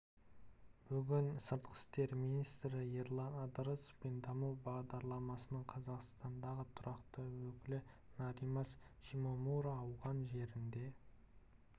бүгін сыртқы істер министрі ерлан ыдырысов пен даму бағдарламасының қазақстандағы тұрақты өкілі норимас шимомура ауған жерінде